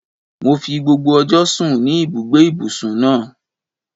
Mo fi gbogbo ọjọ́ sùn ní ibùgbé ìbùsùn náà.